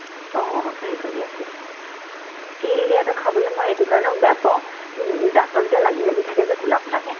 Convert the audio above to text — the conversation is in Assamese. অ, নাৰিকল দিয়াতোয়ে অহ তিল দিয়াতো খাবলে মই এইটো কাৰণত বেয়া পাও ওব দাঁতত যে লাগি লাগি থাকে যে কোলা কোলাকে